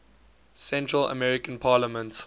central american parliament